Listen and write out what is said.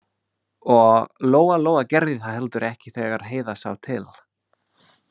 Og Lóa-Lóa gerði það heldur ekki þegar Heiða sá til.